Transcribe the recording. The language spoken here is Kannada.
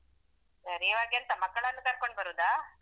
ಸರಿ ಇವಾಗ ಎಂತ ಮಕ್ಕಳನ್ನು ಕರ್ಕೊಂಡ್ಬರುದಾ?